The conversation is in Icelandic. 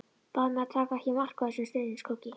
Bað mig að taka ekki mark á þessum stríðnisgoggi.